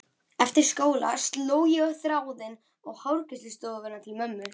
Eftir skóla sló ég á þráðinn á hárgreiðslustofuna til mömmu.